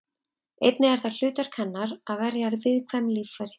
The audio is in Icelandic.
Einnig er það hlutverk hennar að verja viðkvæm líffæri.